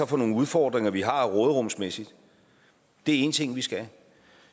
for nogle udfordringer vi har råderumsmæssigt det er en ting vi skal